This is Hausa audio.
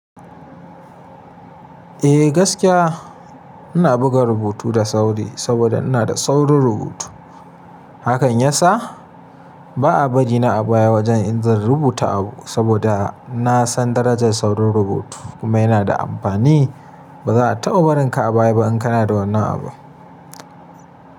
Eh gaskiya ina buga rubutu da sauri saboda ina da saurin rubutu. Hakan ya sa ba a bari na a baya wajen in zan rubuta abu saboda na san darajar saurin rubutu kuma yana da amfani. Ba za a taɓa barinka a baya ba in kana da wannan abun.